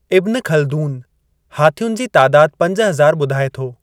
इब्न Khaldun हाथियुनि जी तादाद पंज हज़ार ॿुधाए थो।